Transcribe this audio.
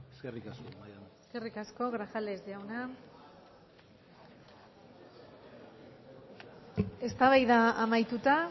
eskerrik asko eskerrik asko grajales jauna eztabaida amaituta